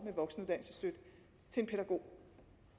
til en pædagog